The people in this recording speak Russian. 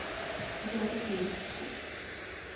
гвардейску